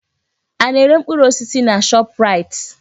Ana-ere mkpụrụ osisi na Shọpraịt?